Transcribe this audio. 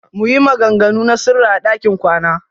Muyi maganganu na sirri a ɗakin kwana.